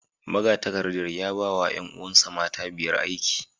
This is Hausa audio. Magatakardar ya ba wa ’yan’uwansa mata biyar aiki